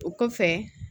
O kɔfɛ